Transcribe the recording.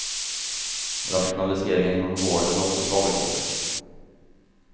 Rationaliseringar inom vården har också slagit hårt.